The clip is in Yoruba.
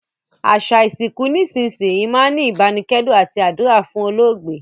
Àsà ìsinkù nísinsìnyi máa n ni ìbánikẹ́dùn àti àdúrà fún olóògbé